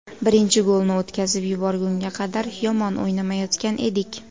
Birinchi golni o‘tkazib yuborgunga qadar yomon o‘ynamayotgan edik.